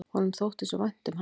Honum þótti svo vænt um hann.